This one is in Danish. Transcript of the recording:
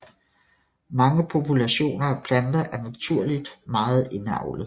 Mange populationer af planter er naturligt meget indavlede